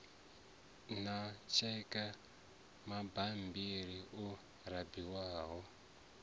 na tsheke mabammbiri o raliho